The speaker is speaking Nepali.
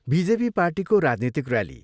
बिजेपी पार्टीको राजनीतिक ऱ्याली।